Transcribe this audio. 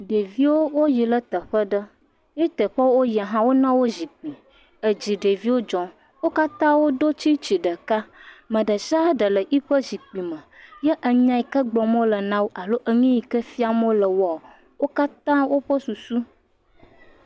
Ɖeviwo wo yi ɖe teƒe aɖe ye teƒe woyi hã wo na wo zikpui. Edzi ɖeviawo dzɔm. wo katã wodo tsitsi ɖeka. Ame ɖe sia ɖe le eƒe zikpui me. Ye enya yi ke gbɔm wo le na wo alo nu yi ke fiam wo le woa wo katã woƒe susu.